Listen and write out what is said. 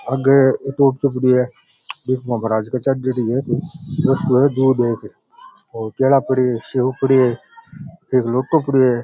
आगे एक ऑटो पड़ो है और केला पड़े है सेव पड़े है एक लोटो पड़े है।